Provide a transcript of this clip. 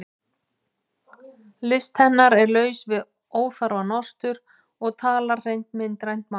List hennar er laus við óþarfa nostur og talar hreint myndrænt mál.